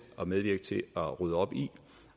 at medvirke til at rydde op i